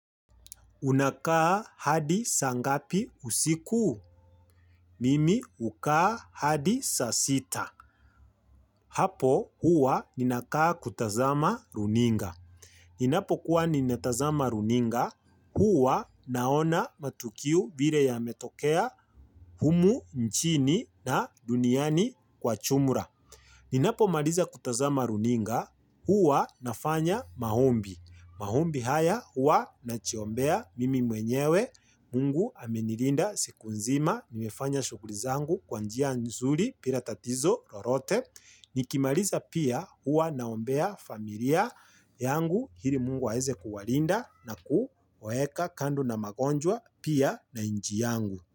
Unakaa hadi saa ngapi usiku? Mimi ukaa hadi saa sita. Hapo huwa ninakaa kutazama runinga. Ninapokuwa ninatazama runinga, huwa naona matukiu vire yametokea humu nchini na duniani kwa chumura. Ninapomaliza kutazama runinga, huwa nafanya mahombi. Mahombi haya hua nachiombea mimi mwenyewe mungu amenirinda siku nzima niwefanya shughli zangu kwa njia nzuri pira tatizo rorote. Nikimarisa pia hua naombea familia yangu hiri mungu aeze kuwalinda na kuwaeka kando na magonjwa pia na inji yangu.